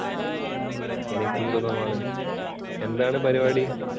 എനിക്കും സുഖമാണ്, എന്താണ് പരിപാടി?